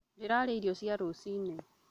Ndĩrarĩa irio cia rũcinĩ